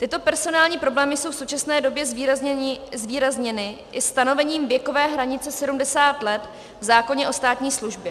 Tyto personální problémy jsou v současné době zvýrazněny i stanovením věkové hranice 70 let v zákoně o státní službě.